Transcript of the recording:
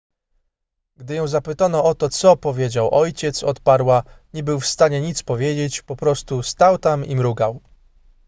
gdy ją zapytano o to co powiedział ojciec odparła nie był w stanie nic powiedzieć po prostu stał tam i mrugał